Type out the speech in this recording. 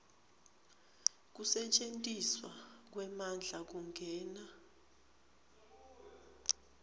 kusetjentiswa kwemandla kungena